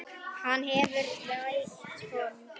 Hann hefur rautt hold.